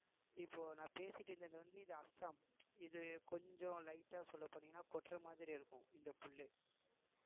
இப்போ நான் பேசிட்டு இருந்தது வந்து இது அஸ்ஸாம் இது கொஞ்சம் light ஆ சொல்லப் போனீங்கன்னா கொட்டுற மாதிரி இருக்கும் இந்த புல்லு